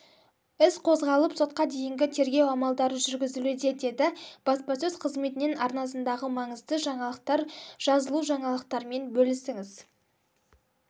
іс қозғалып сотқа дейінгі тергеу амалдары жүргізілуде деді баспасөз қызметінен арнасындағы маңызды жаңалықтар жазылужаңалықтармен бөлісіңіз